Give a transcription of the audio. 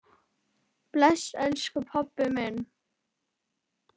Bless, elsku pabbi minn.